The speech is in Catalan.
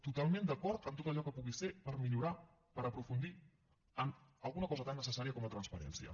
totalment d’acord en tot allò que pugui ser per millorar per aprofundir en alguna cosa tan necessària com la transparència